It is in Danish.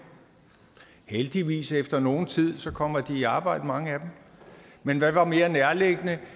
heldigvis efter nogen tid i arbejde men hvad var mere nærliggende